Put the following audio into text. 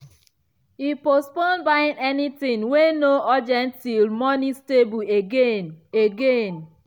e postpone buying anything wey no urgent till money stable again. again.